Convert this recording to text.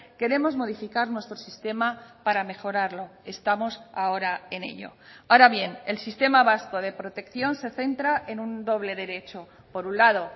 queremos modificar nuestro sistema para mejorarlo estamos ahora en ello ahora bien el sistema vasco de protección se centra en un doble derecho por un lado